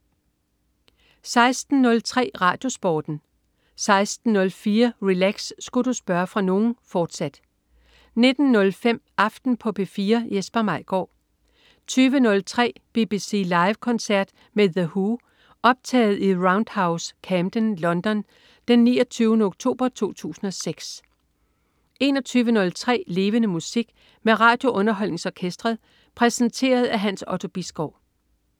16.03 RadioSporten 16.04 Relax. Sku' du spørge fra nogen?, fortsat 19.05 Aften på P4. Jesper Maigaard 20.03 BBC Live koncert med The Who. Optaget i The Roundhouse, Camden, London den 29. oktober 2006 21.03 Levende Musik. Med RadioUnderholdningsOrkestret. Præsenteret af Hans Otto Bisgaard